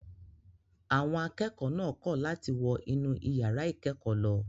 Àwọn akẹ́kọ̀ọ́ náà kọ̀ láti wọ inú ìyàrá ìkẹ́kọ̀ọ́ lọ.